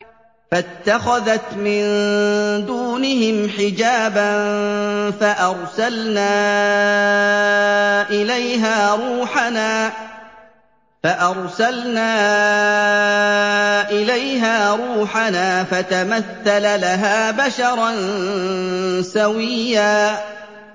فَاتَّخَذَتْ مِن دُونِهِمْ حِجَابًا فَأَرْسَلْنَا إِلَيْهَا رُوحَنَا فَتَمَثَّلَ لَهَا بَشَرًا سَوِيًّا